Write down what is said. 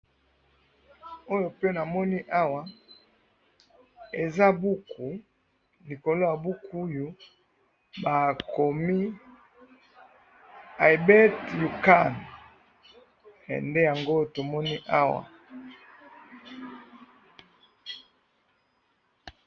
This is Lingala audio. oyo pe na moni awa eza buku likoloyo ya buku oyo ba komi "I bet you can" nde yango to moni awa